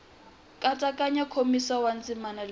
nkatsakanyo nkomiso wa ndzima wu